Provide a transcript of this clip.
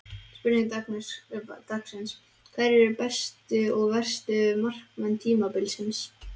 Spurning dagsins: Hverjir eru bestu og verstu markmenn tímabilsins?